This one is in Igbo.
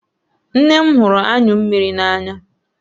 Nne m hụrụ anyụ mmiri n'anya